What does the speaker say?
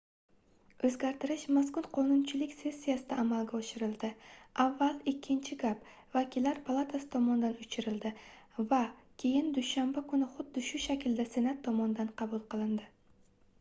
oʻzgartirish mazkur qonunchilik sessiyasida amalga oshirildi avval ikkinchi gap vakillar palatasi tomonidan oʻchirildi va keyin dushanba kuni xuddi shu shaklda senat tomonidan qabul qilindi